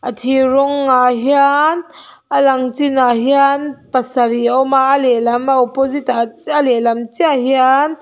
thir rawng ah hian a lang chin ah hian pasarih a awm a a lehlam a opposite ah chi a lehlam chiah hian--